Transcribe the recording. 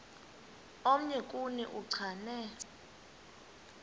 omnye kuni uchane